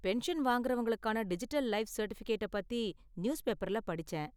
Pension வாங்கறவங்களுக்கான digital life சர்டிஃபிகேட்ட பத்தி நியூஸ்பேப்பர்ல படிச்சேன்.